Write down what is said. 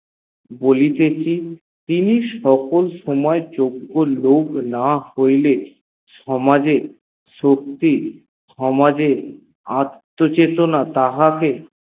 বলীতেছি তিনি সকল সময় যজ্ঞ লোক না হইলে সমাজে শক্তি সমাজে অট্ট চেতনা তাহাকে